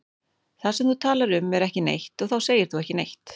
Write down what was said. Það sem þú talar um er ekki neitt og þá segir þú ekki neitt.